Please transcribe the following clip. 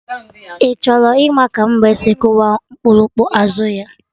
Ị chọrọ ịma ka mbe si kụwa okpurukpu azụ ya?